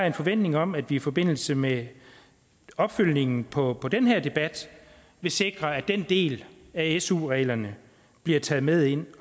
en forventning om at vi i forbindelse med opfølgningen på den her debat vil sikre at den del af su reglerne bliver taget med ind